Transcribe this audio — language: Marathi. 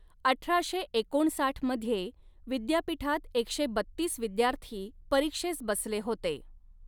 अठराशे एकोणसाठ मध्ये विद्यापीठात एकशे बत्तीस विद्यार्थी परीक्षेस बसले होते.